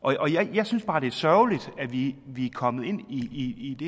jeg synes bare det er sørgeligt at vi er kommet ind i